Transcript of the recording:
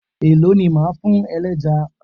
Èló ni o máa fún ẹlẹ́ja?